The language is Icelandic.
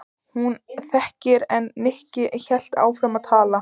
Hún þagði en Nikki hélt áfram að tala.